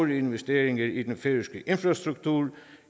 investeringer i den færøske infrastruktur